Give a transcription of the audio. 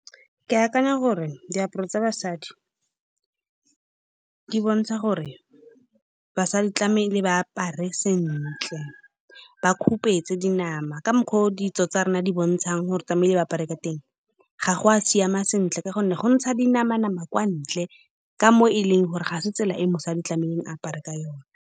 Ke akanya gore, diaparo tsa basadi di bontsha gore basadi tlamehile ba apare sentle. Ba khupetša dinama ka mokgwa o ditso tsa rona di bontshang gore tlamehile ba apare ka teng. Ga go a siama sentle ka gonne go ntsha dinama-nama kwa ntle ka mo e leng gore ga se tsela e mosadi tlamehile a apare ka yone.